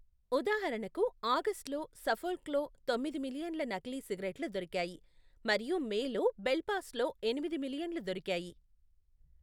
ఉదాహరణకు, ఆగస్ట్లో సఫోల్క్లో తొమ్మిది మిలియన్ల నకిలీ సిగరెట్లు దొరికాయి మరియు మేలో బెల్ఫాస్ట్లో ఎనిమిది మిలియన్లు దొరికాయి .